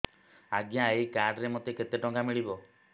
ଆଜ୍ଞା ଏଇ କାର୍ଡ ରେ ମୋତେ କେତେ ଟଙ୍କା ମିଳିବ